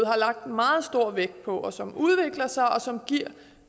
har lagt meget stor vægt på og som udvikler sig og som giver